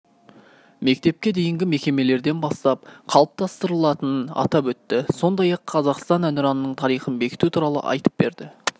мектепке дейінгі мекемелерден бастап қалыптастырылатынын атап өтті сондай-ақ қазақстан әнұранының тарихын бекіту туралы айтып берді